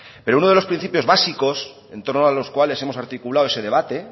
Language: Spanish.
pero uno de los principios básicos en torno a los cuales hemos articulado ese debate